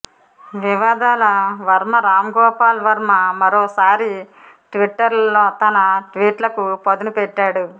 వివాదాల వర్మ రాంగోపాల్ వర్మ మరోసారి ట్విట్టర్లో తన ట్వీట్లకు పదును పెట్టాడు